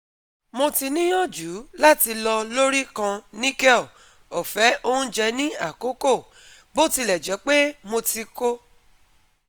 Mo ti niyanju lati lọ lori kan nickel ofe ounjẹ ni akoko, botilẹjẹpe mo ti ko